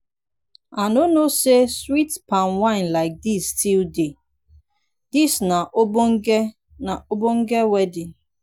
i no know say sweet palm wine like dis still dey. dis na ogbonge na ogbonge wedding.